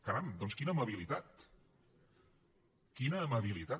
caram doncs quina amabilitat quina amabilitat